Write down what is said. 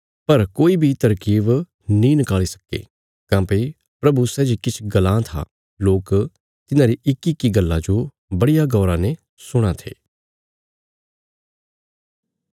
पर कोई बी तरकीब नीं नकाल़ी सक्के काँह्भई प्रभु सै जे किछ गल्लां था लोक तिन्हारी इक्कीइक्की गल्ला जो बड़िया गौरा ने सुणां थे